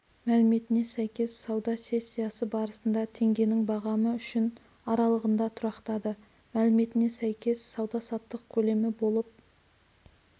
мәліметіне сәйкес сауда сессиясы барысында теңгенің бағамы үшін аралығында тұрақтады мәліметіне сәйкес сауда-саттық көлемі болып